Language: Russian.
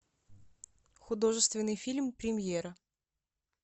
художественный фильм премьера